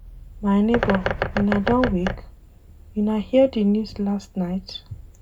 My nebor, una don wake? Una hear di news last night?